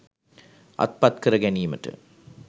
අත්පත් කර ගැනීමට